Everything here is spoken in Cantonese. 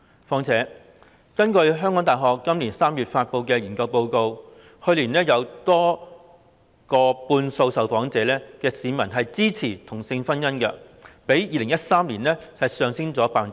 再者，根據香港大學今年3月發布的研究報告，去年有逾半數受訪市民支持同性婚姻，較2013年上升了 10%。